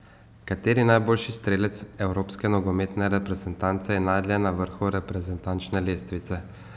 Kateri najboljši strelec evropske nogometne reprezentance je najdlje na vrhu reprezentančne lestvice?